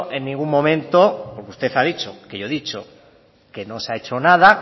en ningún momento como usted ha dicho que yo he dicho que no se ha hecho nada